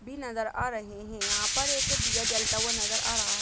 --भी नजर आ रहे हैं यहाँ पर एक दिया जलता हुआ नजर आ रहा--